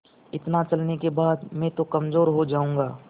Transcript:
इतना चलने के बाद मैं तो कमज़ोर हो जाऊँगा